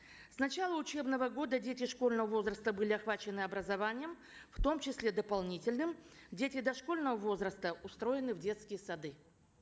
с начала учебного года дети школьного возраста были охвачены образованием в том числе дополнительным дети дошкольного возраста устроены в детские сады